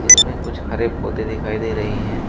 इसमें कुछ हरे पौधे दिखाई दे रहे हैं।